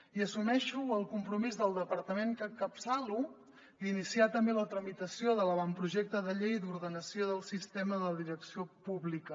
i assumeixo el compromís del departament que encapçalo d’iniciar també la tramitació de l’avantprojecte de llei d’ordenació del sistema de direcció pública